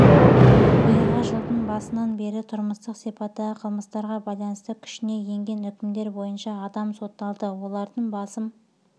биылғы жылдың басынына бері тұрмыстық сипаттағы қылмыстарға байланысты күшіне енген үкімдер бойынша адам сотталды олардың басым